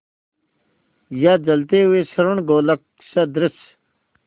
या जलते हुए स्वर्णगोलक सदृश